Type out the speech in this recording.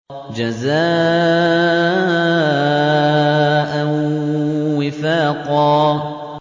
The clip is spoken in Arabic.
جَزَاءً وِفَاقًا